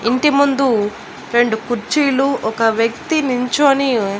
ఇంటిముందు రెండు కుర్చీలు ఒక వ్యక్తి నించొని మ్మ్.